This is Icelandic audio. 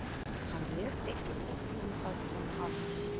Hann lét ekkert uppi um það sem hann vissi.